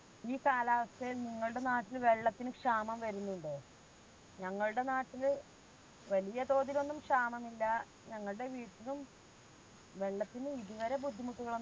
ഈ കാലാവസ്ഥയിൽ നിങ്ങളുടെ നാട്ടിൽ വെള്ളത്തിന് ക്ഷാമം വരുന്നില്ലേ? ഞങ്ങൾടെ നാട്ടില് വല്യതോതിലൊന്നും ക്ഷാമമില്ല ഞങ്ങൾടെ വീട്ടിലും വെള്ളത്തിന് ഇതു വരെ ബുദ്ധിമുട്ടുകളൊന്നും